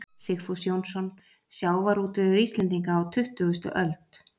Sigfús Jónsson: Sjávarútvegur Íslendinga á tuttugustu öld.